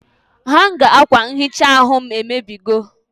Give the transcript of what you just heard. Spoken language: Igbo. Hanga akwa nhicha aru m emebigo